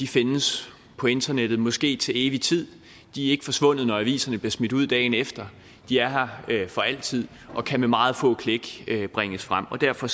findes på internettet måske til evig tid de er ikke forsvundet når aviserne bliver smidt ud dagen efter de er her for altid og kan med meget få klik bringes frem og derfor